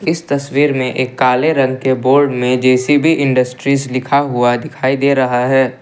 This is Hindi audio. इस तस्वीर में एक काले रंग के बोर्ड में जे_सी_बी इंडस्ट्रीज लिखा हुआ दिखाई दे रहा है।